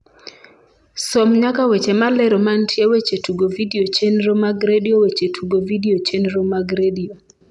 som nyaka weche malero mantie weche tugo vidio chenro mag redio weche tugo vidio chenro mag redio